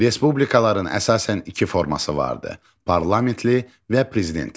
Respublikaların əsasən iki forması vardı: parlamentli və prezidentli.